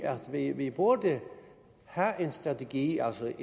at vi burde have en strategi altså